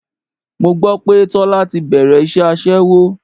Mo gbọ́ pé Tọ́lá ti bẹ̀rẹ̀ iṣẹ́ aṣẹ́wó.